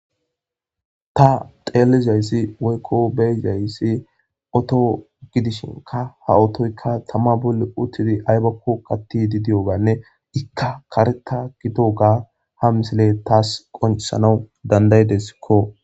Ta xeelizayssi woykko beezayssi oto gidishinka ha otoyka tama bolle uttidi aybakko qatti di diyoganne ikka kareta gido ga ha misile taas qonsana dandaydeskko.